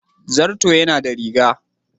Zarto yana da riga.